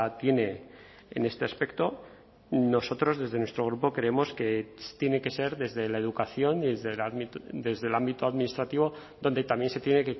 tiene en este aspecto nosotros desde nuestro grupo creemos que tiene que ser desde la educación desde el ámbito administrativo donde también se tiene